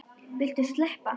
Viltu sleppa!